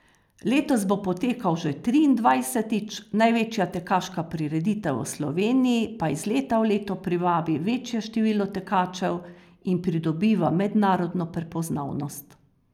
Letos bo potekal že triindvajsetič, največja tekaška prireditev v Sloveniji pa iz leta v leto privabi večje število tekačev in pridobiva mednarodno prepoznavnost.